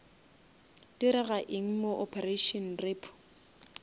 direga eng mo operation repo